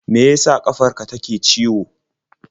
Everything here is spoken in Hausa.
Me ya sa ƙafar ka take ciwo?